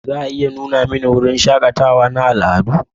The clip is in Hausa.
Za a iya nuna mani wurin shakatawa na al'adu?